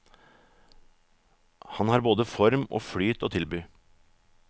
Han har både form og flyt å tilby.